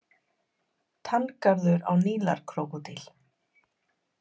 Tanngarður á Nílarkrókódíl.